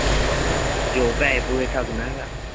ਜੋ ਪੇਸੇ ਪੂਸੇ ਠੱਗਦਾ ਗਾ